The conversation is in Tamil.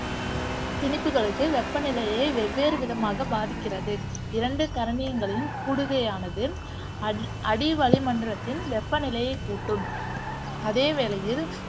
திணிப்புகளுக்கு வெப்பநிலையை வெவ்வேறுவிதமாக பாதிக்கிறது. இரண்டு கரணியங்களையும் கூடுகையானது அடி அடிவளிமண்டலத்தின் வெப்பநிலையைக் கூட்டும் அதேவேளையில்